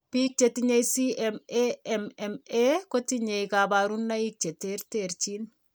Biik chetinye CMAMMA kotinye kabarunaik che terterchin